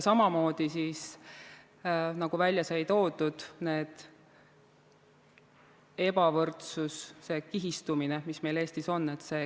Samamoodi, nagu välja sai toodud: ebavõrdsus, kihistumine, mis meil Eestis on.